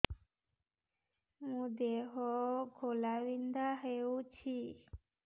ମୋ ଦେହ ଘୋଳାବିନ୍ଧା ହେଉଛି